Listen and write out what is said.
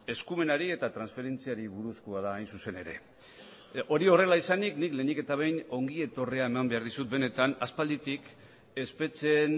eskumenari eta transferentziari buruzkoa da hain zuzen ere hori horrela izanik nik lehenik eta behin ongi etorria eman behar dizut benetan aspalditik espetxeen